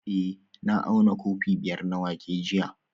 Eh na auna kofi biyar na wake jiya